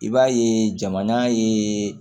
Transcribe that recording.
I b'a ye jamana ye